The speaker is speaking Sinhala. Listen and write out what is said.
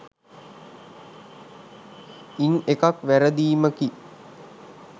ඉන් එකක් වැරදීමකි